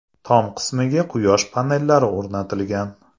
Tom qismiga quyosh panellari o‘rnatilgan.